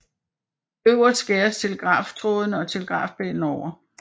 Øverst skæres telegraftrådene og telegrafpælen over